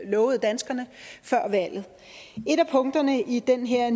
lovede danskerne før valget et af punkterne i den her